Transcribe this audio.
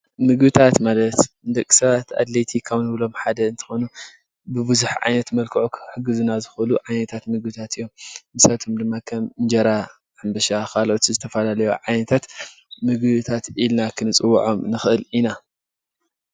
ምግብታት ማለት ንደቅ ሰባት ኣድላይቲ ካብ እንብሎም ዓይነት ሓደ እንትኾኑ ብዙሓትዓይነት መልክዑ ክሕግዝና ዝኽእሉ ዓይነታት ምግብታት እዮም ።ንሳቶም ድማ ከም እንጀራ፣ ሕምብሻ ካሎኦት ዝተፈላለዩ ዓይነት ምግብታት ኢልና ክንፅዕዎዖም ንኽእል ኢና ።